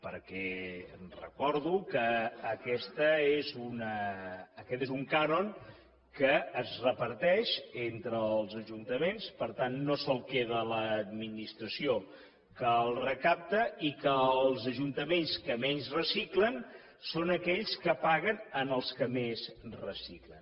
perquè recordo que aquest és un cànon que es reparteix entre els ajuntaments per tant no se’l queda l’administració que el recapta i que els ajuntaments que menys reciclen són aquells que paguen en aquells que més reciclen